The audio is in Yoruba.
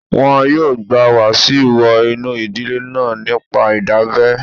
Wọn yóò gba Wasiu wọ inú ìdílé náà nípa ìdábẹ́